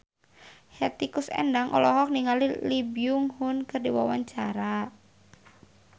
Hetty Koes Endang olohok ningali Lee Byung Hun keur diwawancara